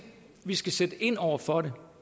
vi skal sætte ind over for det